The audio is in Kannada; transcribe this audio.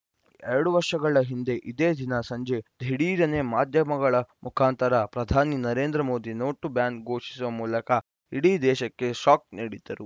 ಎರಡು ವರ್ಷಗಳ ಹಿಂದೆ ಇದೇ ದಿನ ಸಂಜೆ ದಿಢೀರನೇ ಮಾಧ್ಯಮಗಳ ಮುಖಾಂತರ ಪ್ರಧಾನಿ ನರೇಂದ್ರ ಮೋದಿ ನೋಟು ಬ್ಯಾನ್‌ ಘೋಷಿಸುವ ಮೂಲಕ ಇಡೀ ದೇಶಕ್ಕೆ ಶಾಕ್‌ ನೀಡಿದ್ದರು